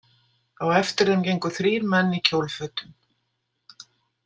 Á eftir þeim gengu þrír menn í kjólfötum.